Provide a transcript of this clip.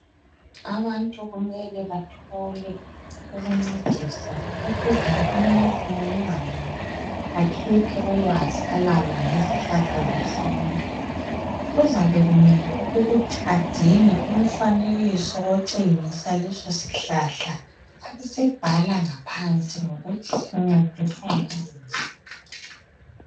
Abantu kumele bathole ukuncediswa ukuze umuntu munye ngamunye akhuphe ulwazi alalo ngemithi yesintu. Kuzame kumele ukuthi adinge umfanekiso otshengisa leso sihlahla abe sebhala ngaphansi ukuthi sincedisa ngani.